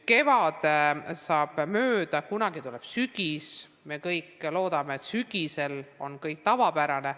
Kevad saab mööda, kunagi tuleb sügis, me kõik loodame, et sügisel on kõik tavapärane.